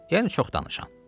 Yəni çox danışan.